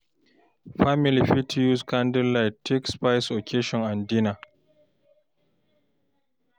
Family fit use candle light take spice occassion and dinner time